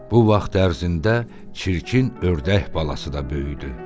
Bu vaxt ərzində çirkin ördək balası da böyüdü.